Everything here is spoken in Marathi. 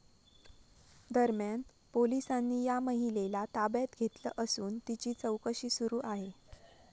दरम्यान, पोलिसांनी या महिलेला ताब्यात घेतलं असून तिची चौकशी सुरू आहे.